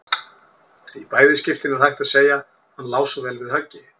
Í bæði skiptin er hægt að segja: Hann lá svo vel við höggi.